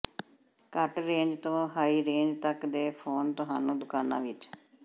ਘੱਟ ਰੇਂਜ ਤੋਂ high range ਤੱਕ ਦੇ ਫੋਨ ਤੁਹਾਨੂੰ ਦੁਕਾਨਾਂ ਵਿੱਚ